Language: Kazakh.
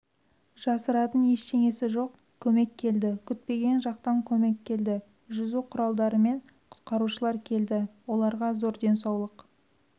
жасыратың ештеңесі жоқ көмек келді күтпеген жақтан көмек келді жүзу құралдарымен құтқарушылар келді оларға зор денсаулық